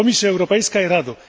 Komisjo Europejska i Rado!